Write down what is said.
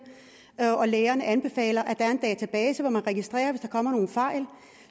og lægerne anbefaler at der er en database hvor man registrerer det hvis der kommer nogle fejl